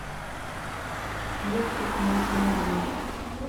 мультик маша медведь